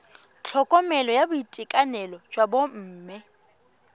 tlhokomelo ya boitekanelo jwa bomme